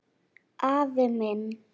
Afi minn